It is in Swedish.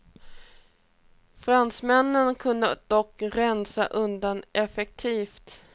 Fransmännen kunde dock rensa undan effektivt.